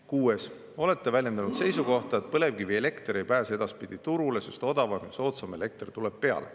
Kuues: "Olete väljendanud seisukohta, et põlevkivielekter ei pääse edaspidi turule, sest odavam ja soodsam elekter tuleb peale.